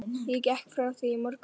Ég gekk frá því í morgun.